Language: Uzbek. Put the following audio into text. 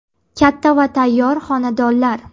Katta va tayyor xonadonlar.